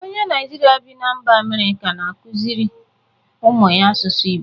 Onye Naijiria bi na mba Amerịka na-akụziri ụmụ ya asụsụ Igbo.